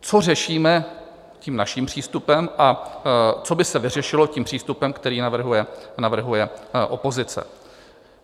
Co řešíme tím naším přístupem a co by se vyřešilo tím přístupem, který navrhuje opozice?